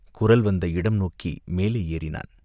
குரல் வந்த இடம் நோக்கி மேலே ஏறினான்.